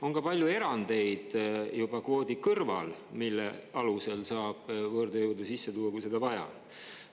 On ka palju erandeid juba kvoodi kõrval, mille alusel saab võõrtööjõudu sisse tuua, kui seda vaja.